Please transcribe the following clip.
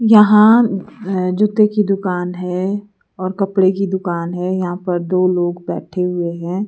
यहाँ जूते की दुकान है और कपड़े की दुकान हैयहां पर दो लोग बैठे हुए हैं।